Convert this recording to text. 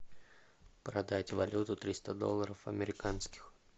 продать валюту триста долларов американских